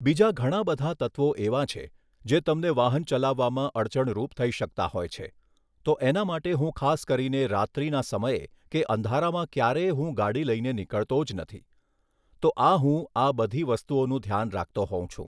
બીજા ઘણાં બધા તત્ત્વો એવાં છે જે તમને વાહન ચલાવવામાં અડચણરૂપ થઈ શકતા હોય છે તો એના માટે હું ખાસ કરીને રાત્રિના સમયે કે અંધારામાં ક્યારેય હું ગાડી લઈને નીકળતો જ નથી. તો આ હું આ બધી વસ્તુઓનું ધ્યાન રાખતો હોઉં છું.